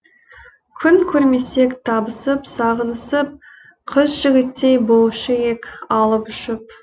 күн көрмесек табысып сағынысып қыз жігіттей болушы ек алып ұшып